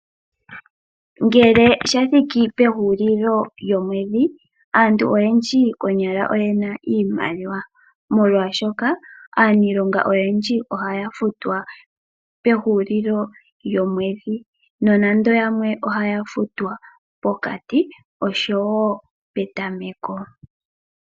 Ngele shathiki pehulilo lyomwedhi aantu oyendji konyala oyena iimaliwa molwashoka aaniilonga oyendji ohaya futwa pehulilo lyomwedhi. Nonando yamwe ohaya futwa mokati oshowo petameko.